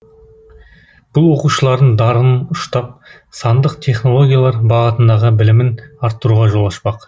бұл оқушылардың дарынын ұштап сандық технологиялар бағытындағы білімін арттыруға жол ашпақ